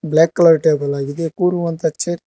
block colour table ಆಗಿದೆ ಕೂರುವಂತ chair --